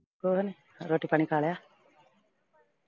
ਹੋਰ ਰੋਟੀ ਪਾਣੀ ਖਾ ਲਿਆ